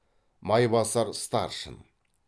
майбасар старшын